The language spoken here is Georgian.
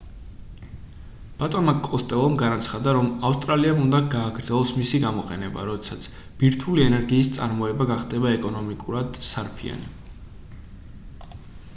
ბატონმა კოსტელომ განაცხადა რომ ავსტრალიამ უნდა გააგრძელოს მისი გამოყენება როდესაც ბირთვული ენერგიის წარმოება გახდება ეკონომიკურად სარფიანი